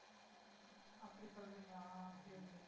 அப்படியா சொல்றீங்களா சரி.